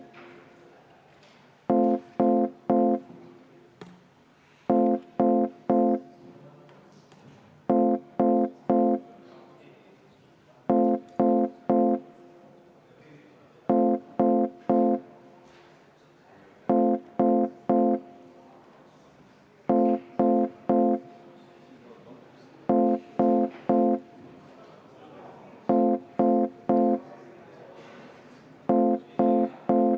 Aitäh!